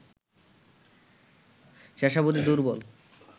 শেষাবধি দুর্বল